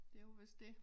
Det jo vist dét